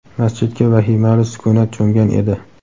masjidga vahimali sukunat cho‘mgan edi.